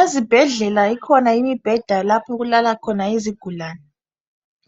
Ezibhedlela ikhona imibheda lapho okulala khona izigulane